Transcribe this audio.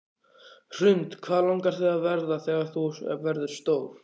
Hrund: Hvað langar þig að verða þegar þú verður stór?